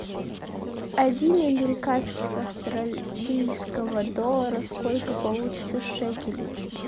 один американских австралийского доллара сколько получится шекелей